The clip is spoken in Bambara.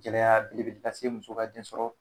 Gɛlɛya belebele lase muso ka den sɔrɔ